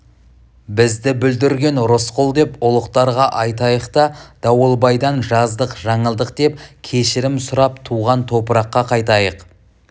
бізді бүлдірген рысқұл деп ұлықтарға айтайық та дауылбайдан жаздық-жаңылдық деп кешірім сұрап туған топыраққа қайтайық